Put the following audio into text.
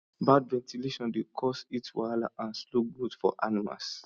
bad ventilation dey cause heat wahala and slow growth for animals